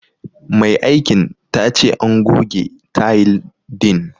Mai aikin ta ce an goge tayil din.